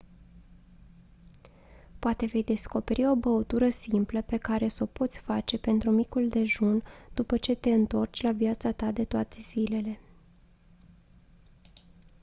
poate vei descoperi o băutură simplă pe care s-o poți face pentru micul dejun după ce te întorci la viața ta de toate zilele